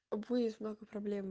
вы